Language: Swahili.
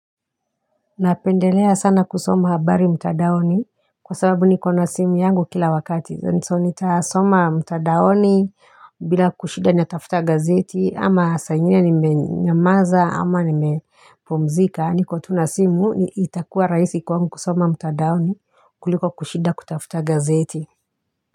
Napendelea sana kusoma habari mtandaoni kwa sababu niko na simu yangu kila wakati. So nitasoma mtandaoni bila kushinda natafuta gazeti ama saa ingine nimenyamaza ama nimepumzika. Na niko tu na simu itakuwa raisi kwangu kusoma mtandaoni kuliko kushinda kutafuta gazeti.